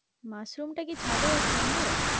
মাশরুমটা কি ছাদেও সম্ভব?